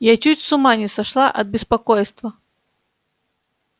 я чуть с ума не сошла от беспокойства